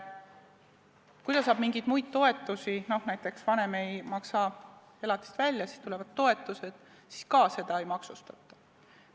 Kui ta saab mingeid muid toetusi, näiteks siis, kui vanem ei maksa elatist välja, siis ka seda ei maksustata.